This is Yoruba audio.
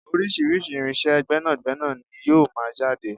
Orísirísi irinsé gbẹ́nàgbẹ́nà ní yóò máa jáde